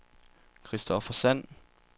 Christopher Sand